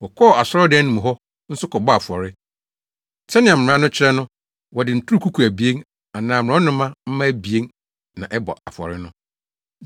Wɔkɔɔ asɔredan no mu hɔ nso kɔbɔɔ afɔre, sɛnea mmara no kyerɛ no wɔde nturukuku abien anaa mmorɔnoma mma abien na ɛbɔ afɔre no.